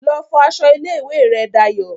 Lọ fọ aṣọ ilé ìwé rẹ Dayọ̀